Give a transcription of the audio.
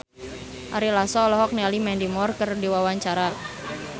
Ari Lasso olohok ningali Mandy Moore keur diwawancara